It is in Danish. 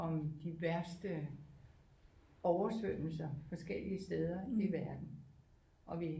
Om de værste oversvømmelser forskellige steder i verden og vi